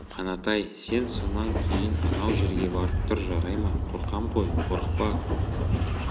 қанат-ай сен сонан кейін анау жерге барып тұр жарай ма қорқам ғой қорықпа